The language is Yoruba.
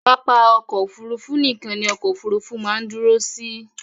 Pápá ọkọ̀ Òfurufú nìkan ni ọkọ òfurufú máa ń dúró sí.